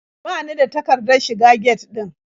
Ba ni da takardar shiga get ɗin.